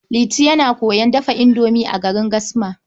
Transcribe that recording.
Liti yana koyon dafa indomi a garin Gasma.